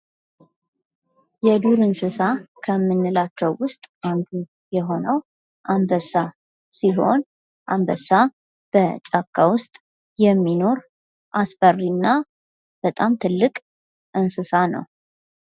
የዱር እንስሳ ከምንላቸው ውስጥ አንዱ የሆነው አንበሳ ሲሆን አንበሳ በጫካ ውስጥ የሚኖር አስፈሪ እና በጣም ትልቅ እንስሳ ነው።